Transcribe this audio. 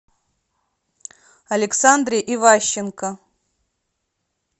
александре иващенко